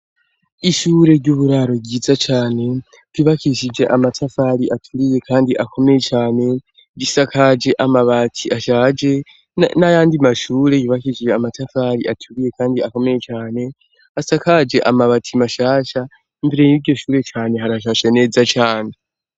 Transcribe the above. Ishure ry'uburaro ryiza cane ryubakishije amatafari aturiye kandi akomeye cane risakaje amabati ashaje n'ayandi mashure yubakishije amatafari aturiye kandi akomeye cane asakaje amabati mashasha, imbere yiryo shure cane harashashe neza cane.